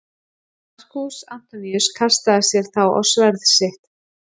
Markús Antoníus kastaði sér þá á sverð sitt.